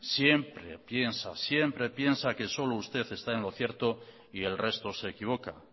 siempre piensa siempre piensa que solo usted está en lo cierto y el resto se equivoca